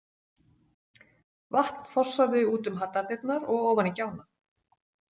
Vatn fossaði út um hallardyrnar og ofan í gjána.